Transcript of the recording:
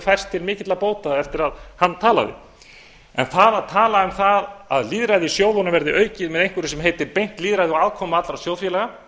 til mikil bóta eftir að hann talaði en það að tala um það að lýðræðissjóðunum verði aukið með einhverju sem heitir beint lýðræði og aðkomu allra sjóðfélaga